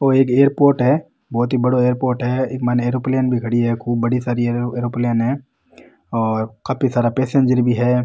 ओ एक ये एयरपोर्ट है बहोत ही बड़ो एयरपोर्ट है इक माइन एयरोप्लेन भी खड़ी है खूब बड़ी सारी एयरोप्लेन है और काफी सारा पैसेंजर भी है।